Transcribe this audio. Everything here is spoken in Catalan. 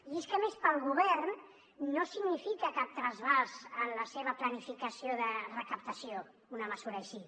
i és que a més per al govern no significa cap trasbals en la seva planificació de recaptació una mesura així